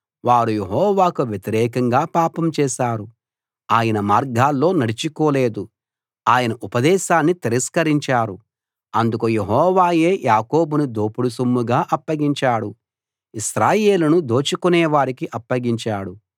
వారు యెహోవాకు వ్యతిరేకంగా పాపం చేశారు ఆయన మార్గాల్లో నడుచుకోలేదు ఆయన ఉపదేశాన్ని తిరస్కరించారు అందుకు యెహోవాయే యాకోబును దోపుడు సొమ్ముగా అప్పగించాడు ఇశ్రాయేలును దోచుకునేవారికి అప్పగించాడు